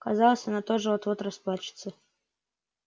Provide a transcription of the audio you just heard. казалось она тоже вот-вот расплачется